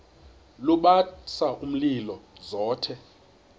lubasa umlilo zothe